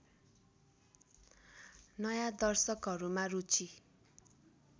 नयाँ दर्शकहरूमा रुचि